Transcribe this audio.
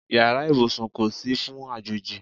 Yàrá ìbùsùn kò sí fún àjòjì.